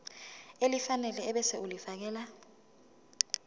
elifanele ebese ulifiakela